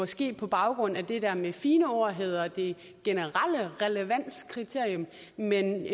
ske på baggrund af det der med et fint ord hedder det generelle relevanskriterium men